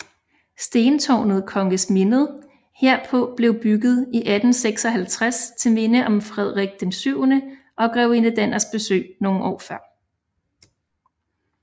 Stentårnet Kongemindet herpå blev bygget i 1856 til minde om Frederik VII og grevinde Danners besøg nogle år før